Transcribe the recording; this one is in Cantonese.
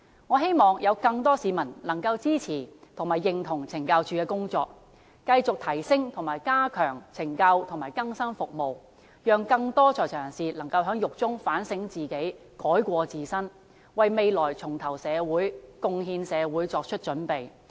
我希望更多市民能夠支持及認同懲教署的工作，繼續提升及加強懲教和更生服務，讓更多在囚人士能夠在獄中自我反省，改過自新，為未來重投社會、貢獻社會作出準備。